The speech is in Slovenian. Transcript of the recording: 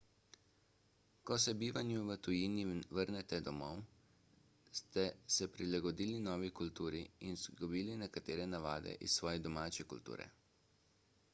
ko se po bivanju v tujini vrnete domov ste se prilagodili novi kulturi in izgubili nekatere navade iz svoje domače kulture